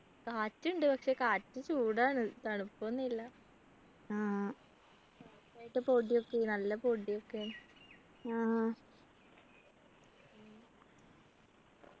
കാറ്റുണ്ട് പക്ഷെ കാറ്റിനു ചൂടാണ് തണുപ്പൊന്നും ഇല്ല നന്നായിട്ട് പൊടിയൊക്കെ ആണ് നല്ല പൊടിയൊക്കെയാ